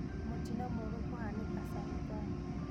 Mũtino mũũru kũhaanika Salgaa